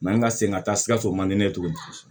an ka segin ka taa sikaso man di ne ye cogo di